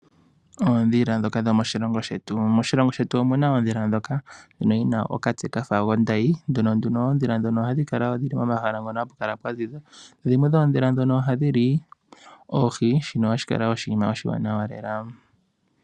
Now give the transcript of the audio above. Oondhila ndhoka dhomoshilongo shetu. Moshilongo shetu omu na oondhila ndhoka dhina okatse kafa ondayi. Oondhila ndhika ohadhi kala pomahala mpoka pwa ziza. Dhimwe dhoomondhila ndhono ohadhi li oohi, shono shi li oshinima oshiwanawa lela.